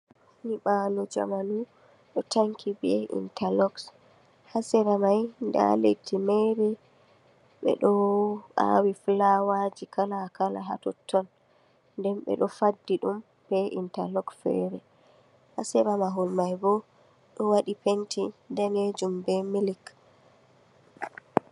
Nyi ɓaalo jamanu ɗo tanki be intact loks, ha sera mai nda leddi mere ɓeɗo awi filawa ji kala kala ha totton nden ɓe ɗo faddi ɗum be intact loks fere, ha sera mahol mai bo